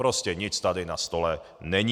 Prostě nic tady na stole není!